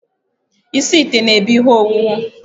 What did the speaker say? Isi ite na ebu ihe owuwu